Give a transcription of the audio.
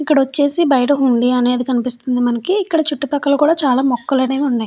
ఇక్కడ వచ్చేసి బయట హుండీ అనేది కనిపిస్తుంది మనకి ఇక్కడ చుట్టుపక్కల కూడా చాలా మొక్కలు అనేవి ఉన్నాయి.